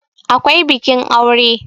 akwai bikin aure